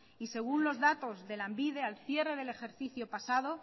y según los datos de lanbide al cierre del ejercicio pasado